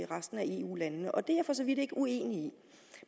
resten af eu landene og det er jeg for så vidt ikke uenig i